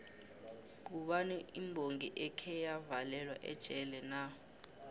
ngubani imbongi ekheya valelwa ejele na